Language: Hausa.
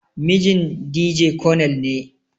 Mijin Dije konel ne.